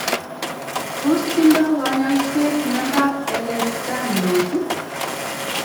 Tos tindo kanyasyeet myandap Ehlers -Danlos ?